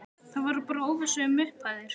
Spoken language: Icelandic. Það var bara óvissa um upphæðir?